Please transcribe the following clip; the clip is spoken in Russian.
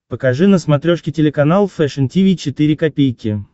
покажи на смотрешке телеканал фэшн ти ви четыре ка